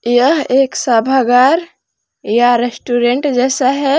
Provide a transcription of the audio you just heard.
यह एक सभा घर या रेस्टोरेंट जैसा है।